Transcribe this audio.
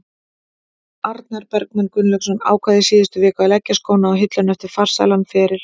Arnar Bergmann Gunnlaugsson ákvað í síðustu viku að leggja skóna á hilluna eftir farsælan feril.